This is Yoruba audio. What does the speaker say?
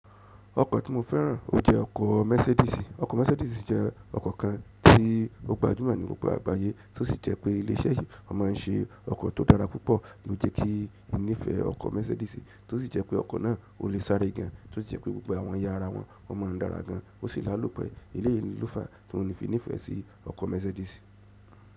Ọkọ̀ tí mo fẹ́ràn o jẹ ọkọ̀ Mercedes. Ọkọ̀ Mercedes jẹ́ ọkọ̀ kan tí gbogbo gbajumo ní gbogbo àgbáyé tó sì jẹ́ pé ilé iṣẹ́ yìí máa ń ṣe ọkọ̀ tó dára púpọ̀, ló jẹ kí n nífẹ̀ẹ́ ọkọ̀ Mercedes. Tó sì jẹ́ pé ọkọ̀ náà o le sáré gan, tó sì jẹ́ pé gbogbo àwọn yàrá wọn máa ń dára gan, ó sì l'álòpẹ́. Èyí ló fà á tí mo fi nífẹ̀ẹ́ sí ọkọ̀ Mercedes.